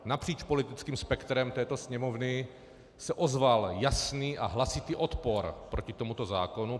Napříč politickým spektrem této Sněmovny se ozval jasný a hlasitý odpor proti tomuto zákonu.